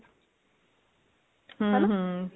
ਹਨਾ